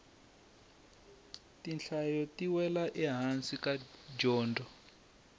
tinhlayo ti wela ehansi ka dyondzo